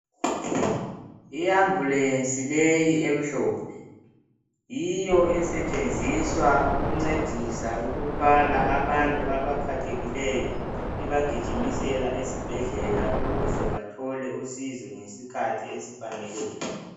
Yi ambulance leyi emhlophe, yiyo esetshenziswa ukuncedisa ukuthwala abantu abaphathekileyo ibagijimisela esibhedlela ukuze bathole usizo ngesikhathi esifaneleyo.